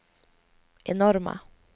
enorma